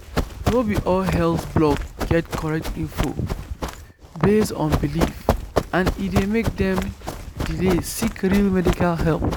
no be all health blog get correct info based on belief and e dey make dem delay seek real medical help.